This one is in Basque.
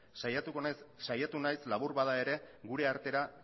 saiatu naiz labur bada ere gure artera